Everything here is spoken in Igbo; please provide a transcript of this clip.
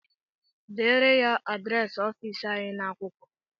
Deere ya adịresị ọfịịsị anyị n'akwụkwọ!